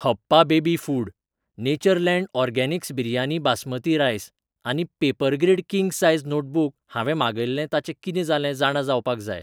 हप्पा baby food, Natureland organics biryani basmati rice आनी Papergrid king size notebook हांवें मागयिल्लें ताचें कितें जालें जाणा जावपाक जाय.